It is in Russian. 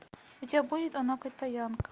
у тебя будет она китаянка